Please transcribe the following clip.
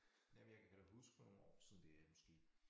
Jamen jeg kan da huske for nogle år siden det måske